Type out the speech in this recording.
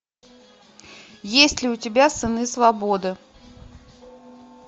есть ли у тебя сыны свободы